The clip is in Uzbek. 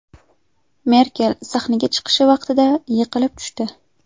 Merkel sahnaga chiqish vaqtida yiqilib tushdi .